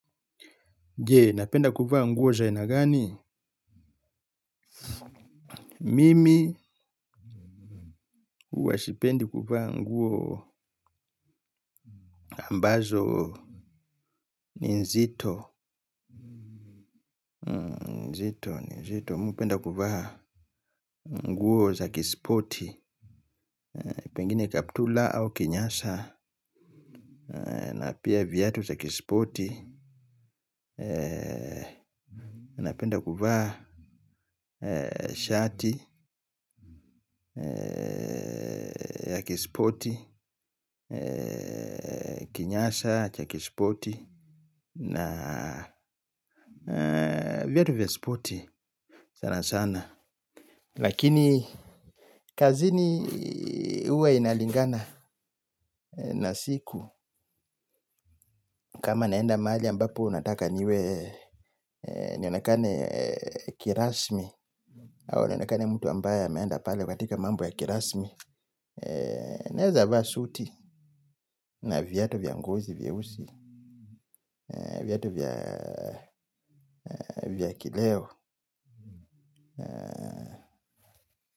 Jee, napenda kuvaa nguo za aina gani? Mimi uwa sipendi kuvaa nguo ambazo ni nzito. Nzito, nzito. Mi hupenda kuvaa nguo za kisipoti. Pengine kaptula au kinyasa. Na pia viatu za kisipoti. Napenda kufaa shati ya kisipoti. Kinyasa cha kisipoti. Na viatu vya spoti sana sana. Lakini kazini uwe inalingana na siku. Kama naenda mahali ambapo nataka niwe nionakane, kirasmi au nionakane mtu ambaye ameenda pale katika mambo ya kirasmi naeza vaa suti na viatu vya ngozi vya ngozi vyeusi, viatu vya kileo.